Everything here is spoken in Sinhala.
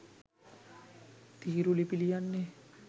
තීරුලිපි ලියන්නෙ?